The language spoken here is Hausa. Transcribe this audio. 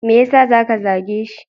Me yasa ya zage shi?